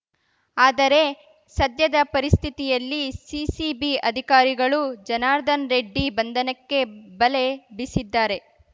ಆದರೆ ಸದ್ಯದ ಪರಿಸ್ಥಿತಿಯಲ್ಲಿ ಸಿಸಿಬಿ ಅಧಿಕಾರಿಗಳು ಜನಾರ್ದನ್ ರೆಡ್ಡಿ ಬಂಧನಕ್ಕೆ ಬಲೆ ಬೀಸಿದ್ದಾರೆ